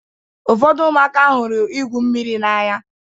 Ụfọdụ ụmụaka hụrụ igwụ mmiri n'anya.